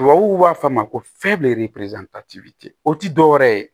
Tubabuw b'a fɔ a ma ko o ti dɔwɛrɛ ye